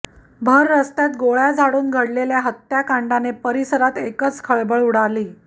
भररस्त्यात गोळ्या झाडून घडलेल्या हत्याकांडाने परिसरात एकच खळबळ उडाली